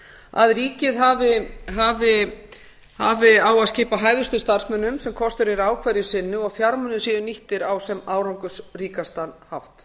að ríkið hafi á að skipa hæfustu starfsmönnum sem kostur er á hverju sinni og að fjármunir séu nýttir á sem árangursríkastan hátt